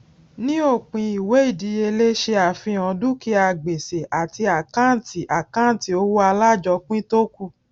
ní òpin ìwé ìdíyelé ṣe àfihàn dúkìá gbèsè àti àkâǹtì àkâǹtì owó alájọpín tó kù